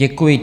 Děkuji.